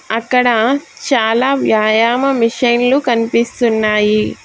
అక్కడ చాలా వ్యాయామ మెషిన్లు కనిపిస్తున్నాయి.